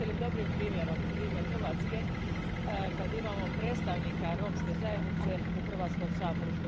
Smatrate li dobrim primjerom primjer Hrvatske, u kojoj imamo predstavnika romske zajednice u Hrvatskom saboru?